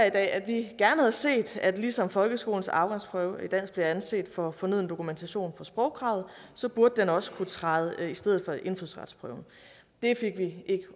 i dag at vi gerne havde set at ligesom folkeskolens afgangsprøve i dansk bliver anset for fornøden dokumentation for sprogkravet burde den også kunne træde i stedet for indfødsretsprøven det fik vi ikke